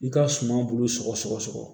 I ka suman bulu sɔgɔsɔgɔ